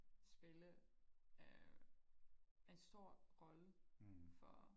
spille øh en stor rolle for